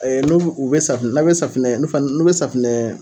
Ɛ n'olu u bɛ safinɛ, n' bɛ safinɛ n'u bɛ safinɛ.